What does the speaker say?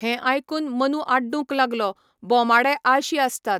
हें आयकून मनू आड्डूंक लागलो, बोमाडे आळशी आसतात!